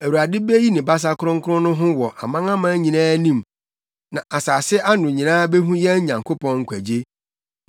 Awurade beyi ne basa kronkron no ho wɔ amanaman nyinaa anim na asase ano nyinaa behu yɛn Nyankopɔn nkwagye.